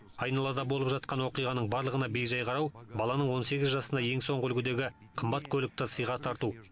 айналада болып жатқан оқиғаның барлығына бей жай қарау баланың он сегіз жасына ең соңғы үлгідегі қымбат көлікті сыйға тарту